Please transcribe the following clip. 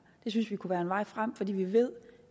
det synes vi kunne være vejen frem fordi vi ved